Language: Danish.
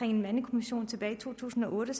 en mandekommission tilbage i to tusind og otte